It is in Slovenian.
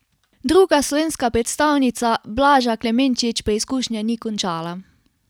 Druga slovenska predstavnica Blaža Klemenčič preizkušnje ni končala.